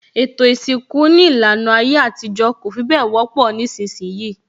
Ètò isinku ní ìlànà ayé àtijọ́ kò fi bẹ wọ́pọ̀ nísìnsìnyí